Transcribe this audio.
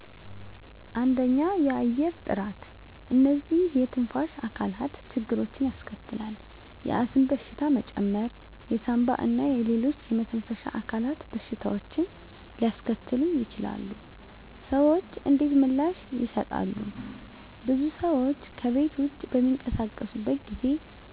1. የአየር ጥራት *እነዚህ የትንፋሽ አካላት ችግሮችን ያስከትላል፣ የአስም በሽታ መጨመር የሳንባ እና ሌሎች የመተንፈሻ አካላት በሽታዎችን ሊያስከትሉ ይችላሉ። **ሰዎች እንዴት ምላሽ ይሰጣሉ? *ብዙ ሰዎች ከቤት ውጭ በሚንቀሳቀሱበት ጊዜ